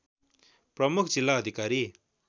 प्रमुख जिल्ला अधिकारी